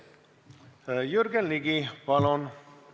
Jürgen Ligi, palun!